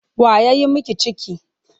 Wa ya yi miki ciki?